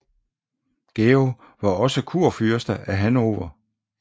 Georg var også kurfyrste af Hannover